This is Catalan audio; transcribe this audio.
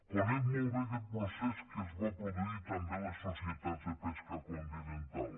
conec molt bé aguest procés que es va produir també a les societats de pesca continental